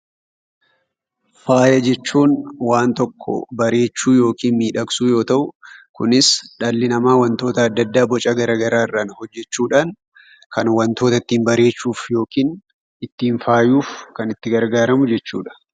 Faaya jechuun waan tokko bareechuu yookin miidhagsuu yoo ta'u kunis dhalli namaa wantoota adda addaa boca garaarraan hojjechuudhan kan wantoota ittiin bareechuuf yokin ittiin faayuf kan itti gargaaramu jechuudha.